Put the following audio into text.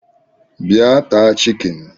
Bịa taa chikini